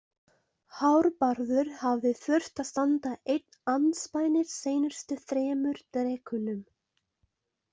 Hárbarður hafði þurft að standa einn andspænis seinustu þremur drekunum.